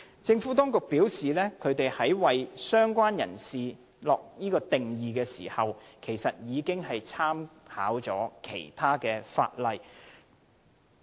政府當局表示，在為"相關人士"下定義時，已經參考其他現行法例。